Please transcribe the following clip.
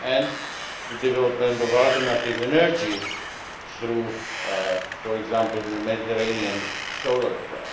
and the development of alternative energies through, for example, the Mediterranean Solar Plan.